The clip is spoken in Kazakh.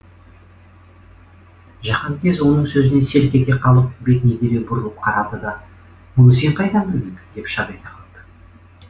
жаһанкез оның сөзінен селк ете қалып бетіне дереу бұрылып қарады да мұны сен қайдан білдің деп шап ете қалды